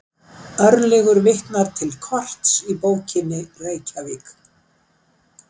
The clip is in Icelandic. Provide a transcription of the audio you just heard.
Örlygur vitnar til korts í bókinni Reykjavík.